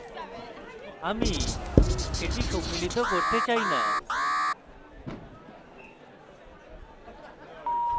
আমি সেটি সম্মিলিত করতে চাই না